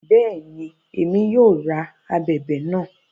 Bẹẹni, Èmí yóò rá ábèbè náà